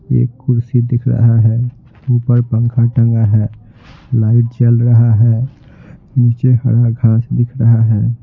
एक कुर्सी दिख रहा है ऊपर पंखा टंगा है लाइट जल रहा है नीचे हरा घास दिख रहा है।